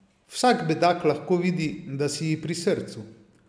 Vsak bedak lahko vidi, da si ji pri srcu.